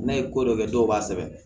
N'a ye ko dɔ kɛ dɔw b'a sɛbɛn